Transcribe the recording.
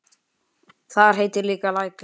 Þar heitir líka Lækur.